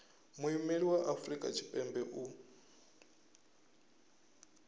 muimeli wa afrika tshipembe u